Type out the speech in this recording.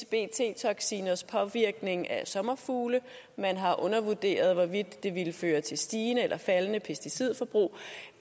bt toksiners påvirkning af sommerfugle man har undervurderet hvorvidt det ville føre til stigende eller faldende pesticidforbrug